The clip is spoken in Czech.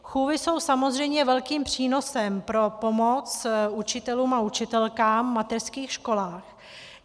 Chůvy jsou samozřejmě velkým přínosem pro pomoc učitelům a učitelkám v mateřských školách.